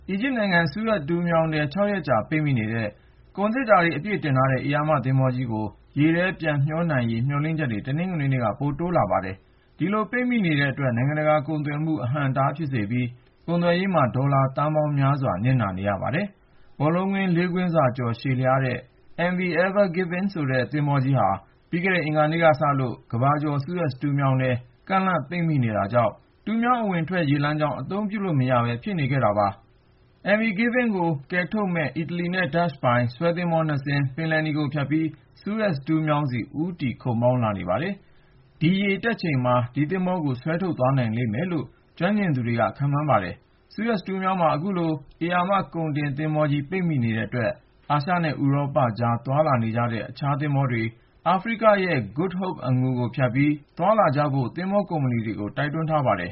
ီဂျစ်နိုင်ငံ စူးအက်တူးမြောင်းထဲ (၆)ရက်ကြာပိတ်မိနေတဲ့ ကုန်သေတ္တာတွေ အပြည့် တင်ဆောင်ထားတဲ့ ဧရာမ သင်္ဘောကြီးကို ရေထဲ ပြန်မျှောနိုင်ရေး မျှော်လင့်ချက်တွေ တနင်္ဂနွေနေ့က ပိုတိုးလာပါတယ်။ ဒီလိုပိတ်မိနေတဲ့အတွက် နိုင်ငံတကာကုန်သွယ်မှု အဟန့်အတားဖြစ်စေပြီး ကုန်သွယ်ရေးမှာ ဒေါ်လာသန်းပေါင်းများစွာ နစ်နာနေရပါတယ်။ ဘောလုံးကွင်း ၄ ကွင်းစာကျော် ရှည်လျားတဲ့ MV Ever Given ဆိုတဲ့ သင်္ဘောကြီးဟာ ပြီးခဲ့တဲ့ အင်္ဂါနေ့ကစလို့ ကမ္ဘာကျော် စူးအက်တူးမြောင်းထဲ ကန့်လန့်ပိတ်မိနေတာကြောင့် တူးမြောင်း အဝင်အထွက် ရေလမ်းကြောင်းကို အသုံးပြုလို့မရ ဖြစ်နေခဲ့တာပါ။ MV Ever Given ကိုကယ်ထုတ်မယ့် အီတလီနဲ့ ဒတ်ချ်ပိုင် ဆွဲသင်္ဘော (၂)စင်းဟာ ပင်လယ်နီကိုဖြတ်ပြီး စူးအက်တူးမြောင်းဆီ ဦးတည်လာနေပါတယ်။ ဒီရေတက်ချိန်မှာ ဒီသင်္ဘောကြီးကို ဆွဲထုတ် သွားနိုင်လိမ့်မယ်လို့ ကျွမ်းကျင်သူတွေက မျှော်လင့်နေပါတယ်။ စူးအက်စ်တူးမြောင်းမှာ အခုလို ဧရာမကုန်တင်သင်္ဘောကြီး ပိတ်မိနေတဲ့အတွက် အာရှနဲ့ ဥရောပကြား သွားလာနေတဲ့ အခြားသင်္ဘောတွေ အာဖရိကရဲ့ Good Hope ကိုဖြတ်ပြီး သွားလာကြဖို့ သင်္ဘောကုမ္ပဏီတွေကို တိုက်တွန်းထားပါတယ်